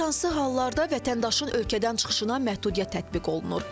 Bəs hansı hallarda vətəndaşın ölkədən çıxışına məhdudiyyət tətbiq olunur?